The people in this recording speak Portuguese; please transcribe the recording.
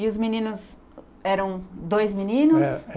E os meninos eram dois meninos?